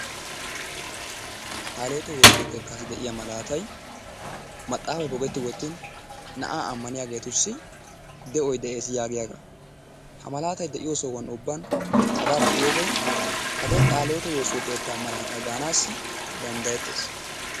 Qaalihiwote woossiyo keettaassi de'iya malaatay maxaafay pogeti wottiin na'aa ammaniyageetussi de'oy de'ees yaagiyaagaa, ha malaatay de'iyo soho ubban hagaa be'iyode hagee qaalihiwote woossiyo keettaa malaataa gaanaassi danddayettees.